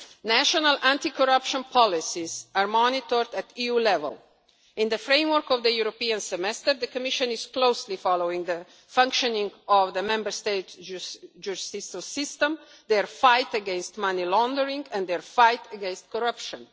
National anti corruption policies are monitored at EU level. In the framework of the European Semester, the Commission is closely following the functioning of the Member States' judicial systems, their fight against money laundering and their fight against corruption.